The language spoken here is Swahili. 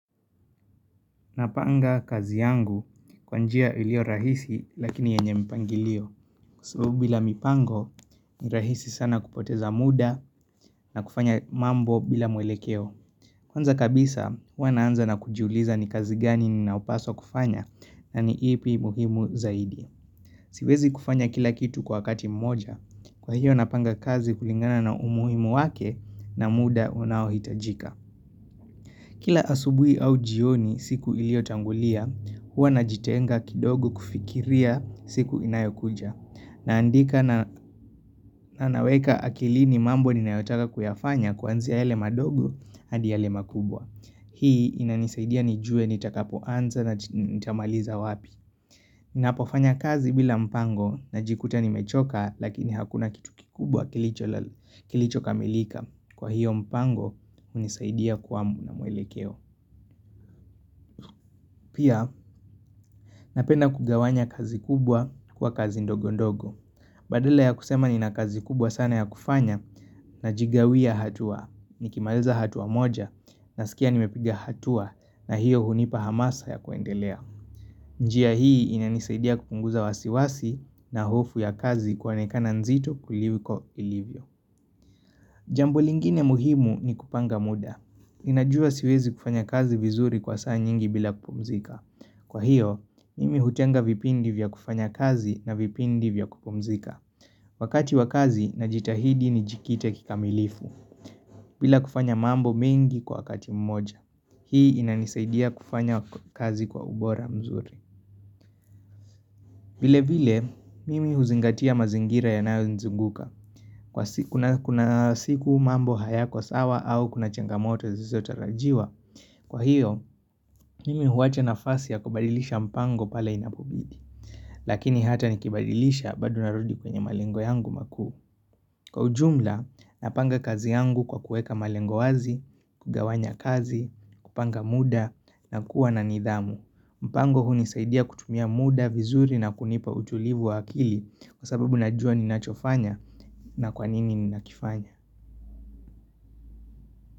Napanga kazi yangu kwa njia ilio rahisi lakini yenye mpangilio. Kwa sababu bila mipango, ni rahisi sana kupoteza muda na kufanya mambo bila mwelekeo. Kwanza kabisa, hua naanza na kujuliza ni kazi gani ni naupaswa kufanya na ni ipi muhimu zaidi. Siwezi kufanya kila kitu kwa wakati mmoja. Kwa hiyo napanga kazi kulingana na umuhimu wake na muda unaohitajika. Kila asubui au jioni siku ilio tangulia, hua najitenga kidogo kufikiria siku inayokuja. Naandika na naweka akilini mambo ninayotaka kuyafanya kuanziya yale madogo hadi yale makubwa. Hii inanisaidia nijue nitakapoanza na nitamaliza wapi. Ninapofanya kazi bila mpango najikuta nimechoka lakini hakuna kitu kikubwa kilicho kamilika. Kwa hiyo mpango unisaidia kuamu na mwelekeo. Pia, napenda kugawanya kazi kubwa kwa kazi ndogo ndogo. Badala ya kusema nina kazi kubwa sana ya kufanya najigawia hatua. Nikimaliza hatua moja nasikia nimepiga hatua na hiyo hunipa hamasa ya kuendelea. Njiya hii inanisaidia kupunguza wasiwasi na hofu ya kazi kwanekana nzito kuliko ilivyo. Jambo lingine muhimu ni kupanga muda. Ninajua siwezi kufanya kazi vizuri kwa saa nyingi bila kupumzika. Kwa hiyo, mimi hutenga vipindi vya kufanya kazi na vipindi vya kupumzika. Wakati wakazi najitahidi nijikite kikamilifu. Bila kufanya mambo mengi kwa wakati mmoja. Hii inanisaidia kufanya kazi kwa ubora mzuri. Vile vile, mimi huzingatia mazingira yanayonizunguka. Kuna siku mambo hayako sawa au kuna chengamoto zisizotarajiwa. Kwa hiyo, mimi huwacha nafasi ya kubadilisha mpango pala inapobidi. Lakini hata nikibadilisha bado narudi kwenye malengo yangu makuu. Kwa ujumla, napanga kazi yangu kwa kueka malengo wazi, kugawanya kazi, kupanga muda na kuwa na nidhamu. Mpango hunisaidia kutumia muda vizuri na kunipa utulivu wa akili kwa sababu najua ninachofanya na kwa nini ninakifanya.